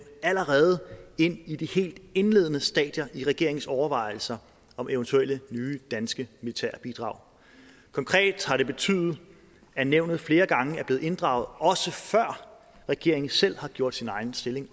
allerede i de helt indledende stadier i regeringens overvejelser om eventuelle nye danske militære bidrag konkret har det betydet at nævnet flere gange er blevet inddraget også før regeringen selv har gjort sin egen stilling